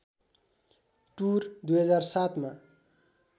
tour २००७ मा